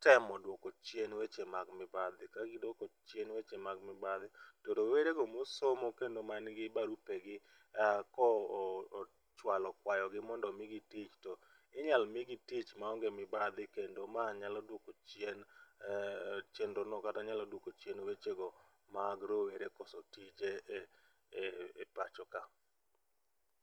temo duoko chien weche mag mibadhi, ka giduoko chien weche mag mibadhi to rowere go mosomo kendo man gi barupe gi ka ochwalo kwayogi mondo migi tich to inyal migi tich maonge mibadhi kendo ma nyalo duoko chien aah, chenro no kata nyalo duoko chien weche mag rowere koso tije e pachoka